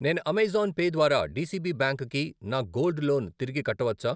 నేను Amazon Pay ద్వారా D C B bank కి నా గోల్డ్ లోన్ తిరిగి కట్టవచ్చా?